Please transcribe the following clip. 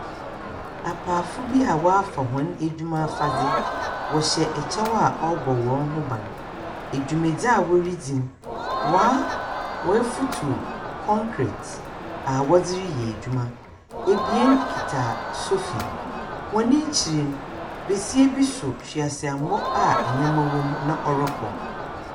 Apaafo bi a wafa wɔn adwuma afade wɔhyɛ ɛkyɛw a ɛbɔ wɔn ho ban dwumadie a wɔredi no wafutuw kɔnkrete a wɔde reyɛ adwuma abien kura sofi wɔn akyire no ababaa bi so hweaseammɔ a nneama na ɔrekɔ.